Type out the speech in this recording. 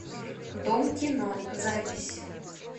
дом кино запись